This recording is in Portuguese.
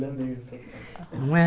Não é?